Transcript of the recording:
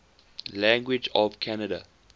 languages of canada